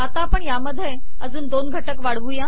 आता यात अजून दोन घटक वाढवू